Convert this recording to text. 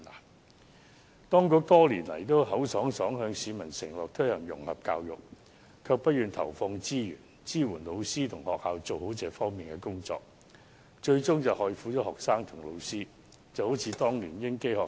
政府當局多年來都信口開河，向市民承諾推行融合教育，但卻不願投放資源，支援老師及學校做好這方面的工作，最終害苦了學生和老師，情況就如當年的英基學校。